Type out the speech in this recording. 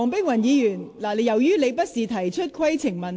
黃議員，請停止發言，這不是規程問題。